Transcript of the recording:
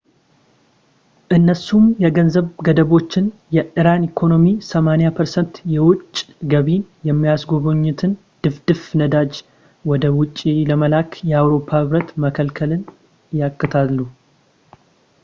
እነሱም የገንዘብ ገደቦችን እና የኢራን ኢኮኖሚ 80% የውጭ ገቢን የሚያገኝበትን ድፍድፍ ነዳጅ ወደ ውጭ ለመላክ በአውሮፓ ህብረት መከልከልን ያካትታሉ ፡፡